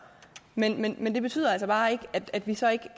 men men det betyder altså bare ikke at vi så ikke